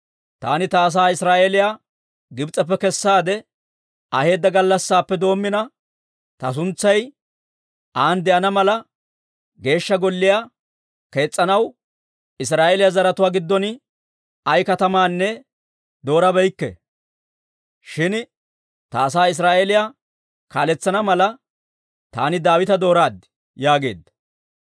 ‹Taani ta asaa Israa'eeliyaa Gibs'eppe kessaade aheedda gallassaappe doommina, ta suntsay an de'ana mala, Geeshsha Golliyaa kees's'anaw Israa'eeliyaa zaratuwaa giddon ay katamaanne doorabeykke; shin ta asaa Israa'eeliyaa kaaletsana mala, taani Daawita dooraad› yaageedda.